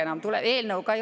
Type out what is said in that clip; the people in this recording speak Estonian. Nii, aitäh!